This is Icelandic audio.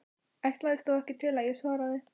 Ætlaðist þó ekki til að ég svaraði.